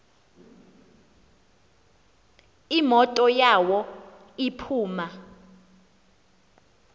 imoto yawo iphuma